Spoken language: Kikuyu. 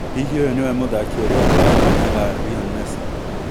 Hihi ũyũ nĩwe mũthaki ũrĩa ũkuoya kanya ga Rion Mesi ?